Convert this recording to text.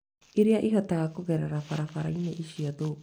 Iria ihotaga kũgerera barabarainĩ icio thũkũ